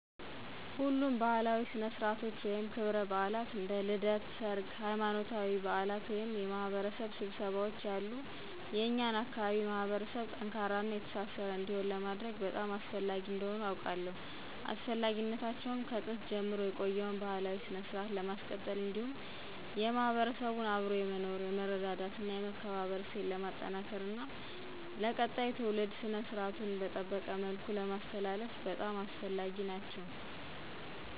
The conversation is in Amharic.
ሁሉም ባእላዊ ስነስረአትቶች ወይም ክብረባአላት እንደ ልደት፣ ሰርግ፣ ሃይማኖታዊ በአላት ወይም የማህበረሰብ ስብሰባዎች ያሉ የኛን አካባቢ ማህበረሰብ ጠንካራና የተሳሰረ እንዲሆን ለማድረግ በጣም አስፈላጊ እንደሆኑ አውቃለው። አስፈላጊነታቸውም ከጥንት ጀምሮ የቆየውን ባህላዊ ስነስረአት ለማስቀጠል እንዲሁም የማህበረሰቡን አብሮ የመኖር፣ የመረዳዳት እና የመከባበር እሴት ለማጠናከር እና ለቀጣይ ትውልድ ስነስራቱን በጠበቀ መልኩ ለማስተላለፍ በጣም አስፈላጊ ናቸው።